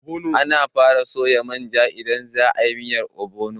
Ana fara soya manja idan za a yi miyar ogbono.